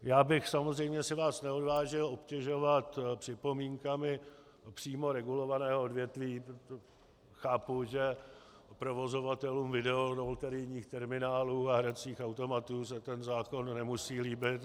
Já bych samozřejmě si vás neodvážil obtěžovat připomínkami přímo regulovaného odvětví, protože chápu, že provozovatelům videoloterijních terminálů a hracích automatů se ten zákon nemusí líbit.